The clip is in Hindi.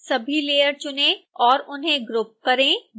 सभी लेयर चुनें और उन्हें ग्रुप करें